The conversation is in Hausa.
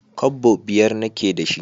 Kwabbo biyar na ke da shi